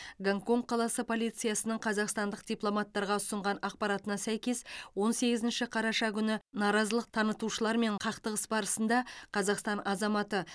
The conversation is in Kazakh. гонконг қаласы полициясының қазақстандық дипломаттарға ұсынған ақпаратына сәйкес он сегізінші қараша күні наразылық танытушылармен қақтығыс барысында қазақстан азаматы